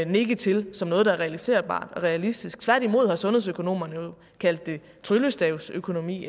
nikke til som noget der var realiserbart og realistisk tværtimod har sundhedsøkonomerne jo kaldt det tryllestavsøkonomi